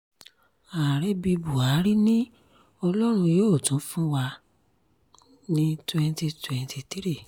ààrẹ bíi buhari ni ọlọ́run yóò tún fún wa ní twenty twenty three